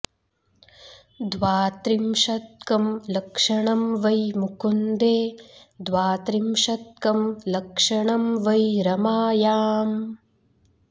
द्वात्रिंशत्कं लक्षणं वै मुकुन्दे द्वात्रिंशत्कं लक्षणं वै रमायाम्